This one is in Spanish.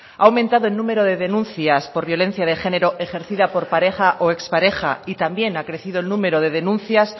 ha aumentado el número de denuncias por violencia de género ejercida por pareja o ex pareja y también ha crecido el número de denuncias